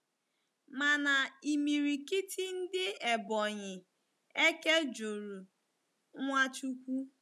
Mana imirikiti ndi Ebonyi eke juru Nwachukwu.